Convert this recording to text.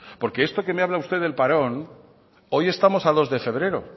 porque esto que me habla usted del parón hoy estamos a dos de febrero